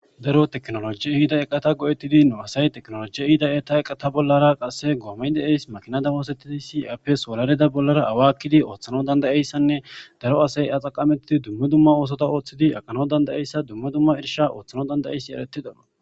daro teknoloji ihida eqata go7ettidi nu asay teknoloji ihida eta eqata bollara qasse goomeydeeys makinada hoosettidi siapps wolalida bollara awakkidi ooththano dandayeyssanne daro asay axaqamettidi dumme dumma oosota ooththidi aqano dandayeyssa dumme dumma irsha ooththano dandayeyssi eretidona